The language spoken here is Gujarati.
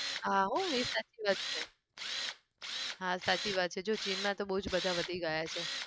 હા હો એ સાચી વાત છે હા સાચી વાત છે જો ચીનમાં તો બહુ બધા જ વધી ગયા છે.